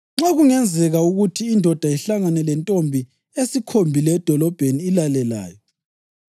Nxa kungenzeka ukuthi indoda ihlangane lentombi esikhombile edolobheni ilale layo,